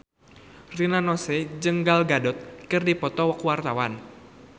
Rina Nose jeung Gal Gadot keur dipoto ku wartawan